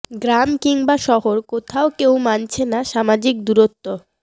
গ্রাম কিংবা শহর কোথাও কেউ মানছে না সামাজিক দূরত্ব